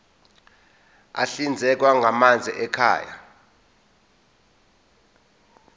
ahlinzekwa ngamanzi ekhaya